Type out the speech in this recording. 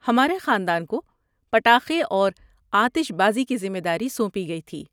ہمارے خاندان کو پٹاخے اور آتش بازی کی ذمہ داری سونپی گئی تھی۔